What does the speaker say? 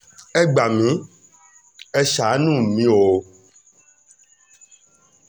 ẹ gbà mí ẹ́ ṣàánú mi o